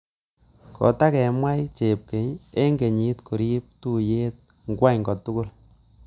Kotakemwai chepkemei eng kenyit koribe tuiyet nywa kotugul